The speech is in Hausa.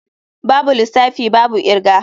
Babu lissafi babu kirga.